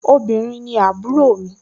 obìrin ni àbúrò mi